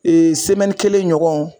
kelen ɲɔgɔn